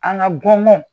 An ka bɔnnɔn